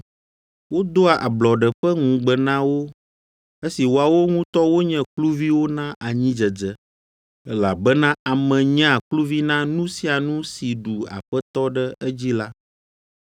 Wodoa ablɔɖe ƒe ŋugbe na wo esi woawo ŋutɔ wonye kluviwo na anyidzedze, elabena ame nyea kluvi na nu sia nu si ɖu aƒetɔ ɖe edzi la.